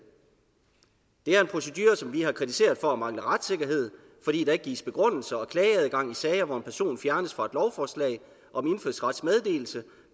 det er en procedure som vi har kritiseret for at mangle retssikkerhed fordi der ikke gives begrundelser og klageadgang i sager hvor en person fjernes fra et lovforslag om indfødsretsmeddelelse